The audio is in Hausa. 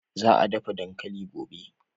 Za a dafa dankali gobe.